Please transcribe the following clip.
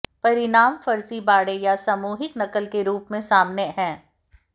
परिणाम फर्जीबाड़े या सामूहिक नकल के रूप में सामने है